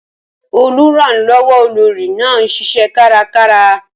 Olùrànlọ́wọ́ olórí náà ń ṣiṣẹ́ kárakára.